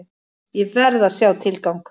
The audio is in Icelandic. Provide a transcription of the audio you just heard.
Ég verð að sjá tilgang!